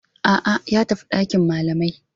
A'a, ya tafi dakin malamai.